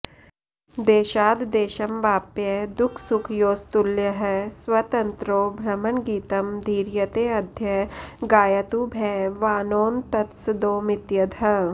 देशाद्देशमवाप्य दुःखसुखयोस्तुल्यः स्वतन्त्रो भ्रमन् गीतं धीरयतेऽद्य गायतु भवानोन्तत्सदोमित्यदः